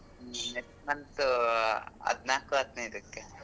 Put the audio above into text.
Next month ಹದ್ನಾಕು ಹದಿನೈದಕ್ಕೆ.